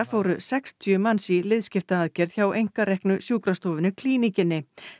fóru sextíu manns í liðskiptaaðgerð hjá einkareknu sjúkrastofunni Klíníkinni